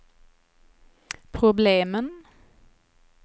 problemen